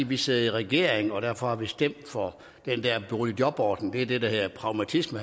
vi sidder i regering og derfor har vi stemt for den der boligjobordning det er det der hedder pragmatisme